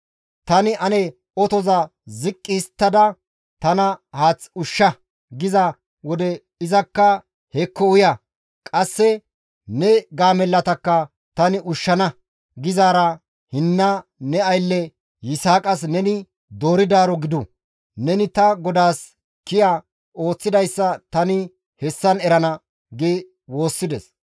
Tani, ‹Ane otoza ziqqi histtada tana haath ushsha› giza wode, izakka, ‹Hekko uya! Qasse ne gaamellatakka tani ushshana› gizaara hinna ne aylle; Yisaaqas neni dooridaaro gidu; neni ta godaas kiya ooththidayssa tani hessan erana» gi woossides.